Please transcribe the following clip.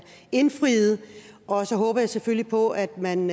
indfriet og så håber jeg selvfølgelig på at man